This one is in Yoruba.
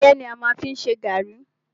Ẹ̀gẹ́ ni a fi má ń ṣe gàrrí.